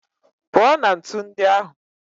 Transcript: Pụọ na ntu ndị ahụ!